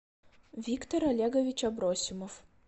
виктор олегович абросимов